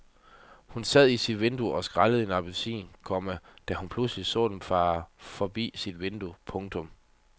Hun sad i sit køkken og skrællede en appelsin, komma da hun pludselig så dem fare forbi sit vindue. punktum